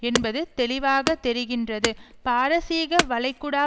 என்பது தெளிவாக தெரிகின்றது பாரசீக வளைக்குடா